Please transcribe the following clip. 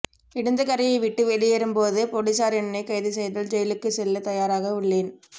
இடிந்தகரையை விட்டு வெளியேறும் போது போலீசார் என்னை கைது செய்தால் ஜெயிலுக்கு செல்ல தயாராக உள்ளேன்